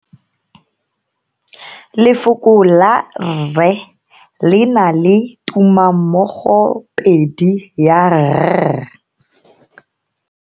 Lefoko la rre le na le tumammogopedi ya, r.